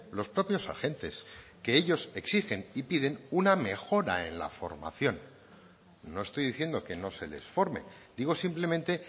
los propios agentes que ellos exigen y piden una mejora en la formación no estoy diciendo que no se les forme digo simplemente